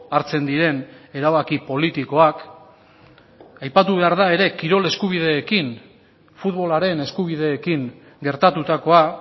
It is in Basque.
hartzen diren erabaki politikoak aipatu behar da ere kirol eskubideekin futbolaren eskubideekin gertatutakoa